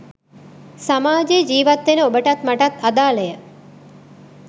සමාජයේ ජීවත් වෙන ඔබටත් මටත් අදාළය